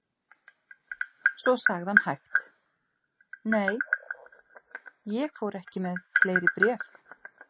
Svo sagði hann hægt: Nei, ég fór ekki með fleiri bréf.